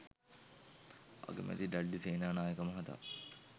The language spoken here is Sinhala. අගමැති ඩඩ්ලි සේනානායක මහතා